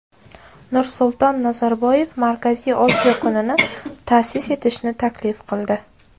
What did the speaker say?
Nursulton Nazarboyev Markaziy Osiyo kunini ta’sis etishni taklif qildi .